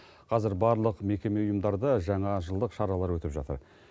қазір барлық мекеме ұйымдарда жаңажылдық шаралар өтіп жатыр